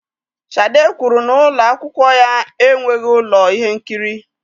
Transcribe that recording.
Shade kwuru na ụlọ akwụkwọ ya enweghị ụlọ ihe nkiri